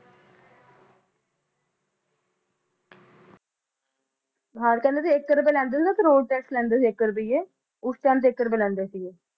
ਬਾਰਕਰ ਇਕ ਰੁਪਏ ਕਰੂਲ ਟੈਕਸ ਲੈਦੇ ਸੀ ਉਸ ਸਮੇ ਇਕ ਰੁਪਏ ਲੈਦੇ ਸੀ